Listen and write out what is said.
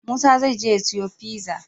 Musa zai je ya siyo pizza?